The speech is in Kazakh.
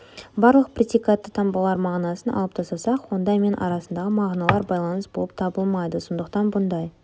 барлық предикатты таңбалардың мағынасын алып тастасақ онда мен арасындағы мағыналар байланыс болып табылмайды сондықтан бұндай